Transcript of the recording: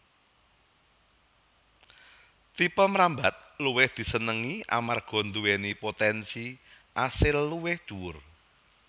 Tipe mrambat luwih disenengi amarga nduwèni potènsi asil luwih dhuwur